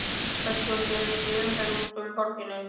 Höskuldur er mikil umferð út úr borginni?